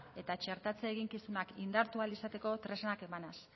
eta txertatze eginkizunak indartu ahal izateko tresnak emanaz